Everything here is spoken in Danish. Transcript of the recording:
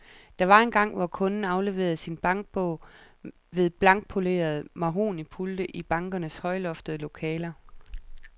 Der var engang, hvor kunden afleverede sin bankbog ved blankpolerede mahognipulte i bankernes højloftede lokaler.